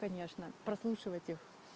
конечно прослушивать их